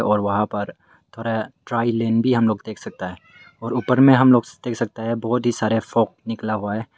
और वहां पर थोड़ा ट्रायलेन भी हम लोग देख सकता है और ऊपर में हम लोग देख सकता है बहुत ही सारे फोग निकला हुआ है।